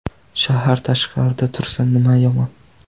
Shahar tashqarida tursa nimasi yomon?